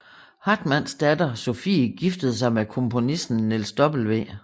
Hartmanns datter Sophie giftede sig med komponisten Niels W